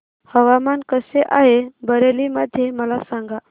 हवामान कसे आहे बरेली मध्ये मला सांगा